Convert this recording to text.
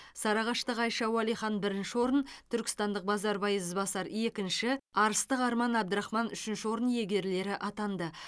сарыағаштық айша уалихан бірінші орын түркістандық базарбай ізбасар екінші арыстық арман абдрахман үшінші орын иегерлері атанды